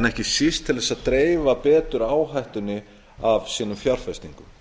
en ekki síst til þess að dreifa betur áhættunni af sínum fjárfestingum